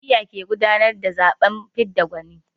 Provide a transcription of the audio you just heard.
Jam'iyya ke gudanar da zaɓen fidda gwani.